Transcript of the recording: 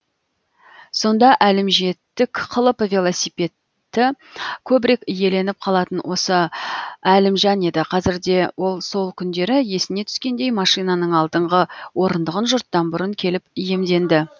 сонда әлімжеттік қылып велосипедті көбірек иеленіп қалатын осы әлімжан еді қазір де ол сол күндері есіне түскендей машинаның алдыңғы орындығын жұрттан бұрын келіп иемденді